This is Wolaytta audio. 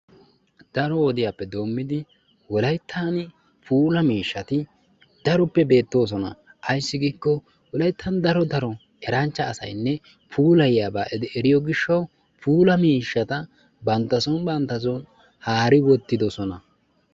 Daro wodiyaappe doommidi wollaytan puula mishshati beettoosona. Ayssi giikko wollayttan daro daro eranchcha asaynne puulayiyaaba eriyoo giishawu puula miishshata bantta soon bantta soon haari uttidoosona.